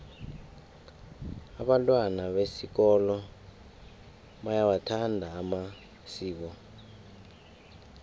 abantwana besikolo bayawathanda amasiko